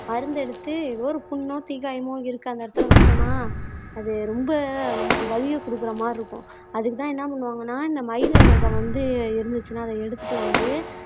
மருந்தெடுத்து ஒரு புண்ணோ தீக்காயமோ இருக்கு அந்த இடத்துல வச்சோம்ன்னா அது ரொம்ப நமக்கு வலியைக் கொடுக்கிற மாறி இருக்கும் அதுக்குத்தான் என்ன பண்ணுவாங்கன்னா இந்த மயில் இறக வந்து இருந்துச்சுன்னா அதை எடுத்துட்டு வந்து